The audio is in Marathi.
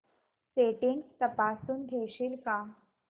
सेटिंग्स तपासून घेशील का